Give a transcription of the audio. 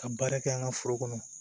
Ka baara kɛ an ka foro kɔnɔ